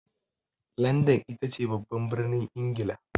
Landan itace babban birnin Ingila.